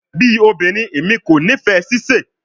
Bi obinrin, Emi ko nifẹ sise